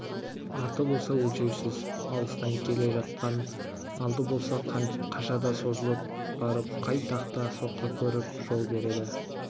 арты болса өлшеусіз алыстан келе жатқан алды болса қашанда созылып барып қай тақта соққы көріп жол береді